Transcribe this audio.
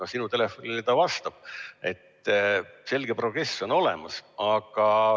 Aga sinu telefonile ta vastab, nii et selge progress on olemas.